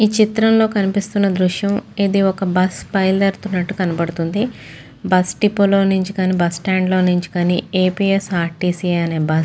ఈ చిత్రంలో కనిపిస్తున్న దృశ్యం ఇది ఒక బస్సు బయలుదేరుతున్నట్టు కనబడుతుంది బస్ డిపో లో నుంచి కానీ బస్ స్టాండ్ లో నుంచి కాని A. P. S. R. T. C. అనే బస్.